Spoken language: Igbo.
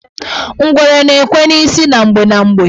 Ngwere na-ekwe n' isi na mgbe na mgbe.